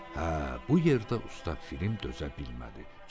Hə, bu yerdə usta Pifirim dözə bilmədi.